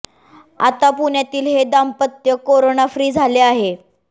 आता पुण्यातील हे दाम्पत्य कोरोना फ्री झाले आहेत